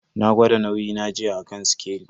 Na gwada nauyi na jiya a kan sikeli.